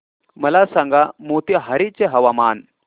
मला सांगा मोतीहारी चे हवामान